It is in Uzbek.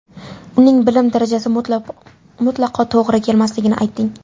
Uning bilim darajasi mutlaqo to‘g‘ri kelmasligini aytding.